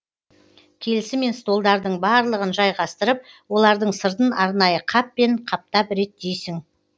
келісімен столдардың барлығын жайғастырып олардың сыртын арнайы қаппен қаптап реттейсің